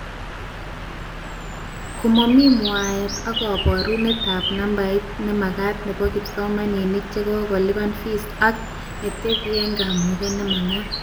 Komami mwaete ak kabarunetab nambet nemagat nebo kipsomanink chekokolupan fees ak neeteabkamuget nemagat